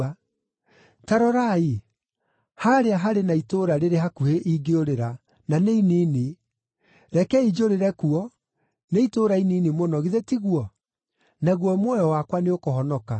Ta rorai, haarĩa harĩ na itũũra rĩrĩ hakuhĩ ingĩũrĩra, na nĩ inini. Rekei njũrĩre kuo, nĩ itũũra inini mũno, githĩ tiguo? Naguo muoyo wakwa nĩũkũhonoka.”